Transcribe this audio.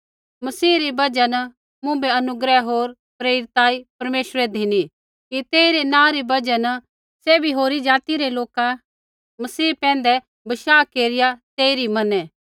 मसीह री बजहा न मुँभै अनुग्रह होर प्रेरिताई परमेश्वरै धिनी कि तेइरै नाँ री बजहा न सैभी होरी ज़ाति रै लोका मसीह पैंधै बशाह केरिया तेइरी मनै